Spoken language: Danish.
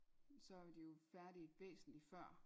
så er de jo færdige væsentlig før